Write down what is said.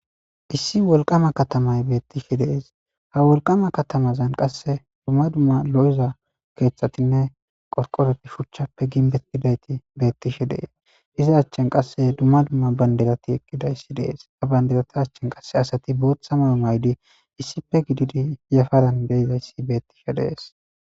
Issi wolqama katamay beettishe dees, ha wolqama katamazan qasse dumma dumma lo7iza keeththatinne qoqoreti shuchappe ginbet gidayti beettishe dees iza achchen qasse dumma dumma banderati eqqidayssi dees ha banderata achchen qasse asati booththa mayo maydi issipe gididi yafaran deizayssi beettishe dees.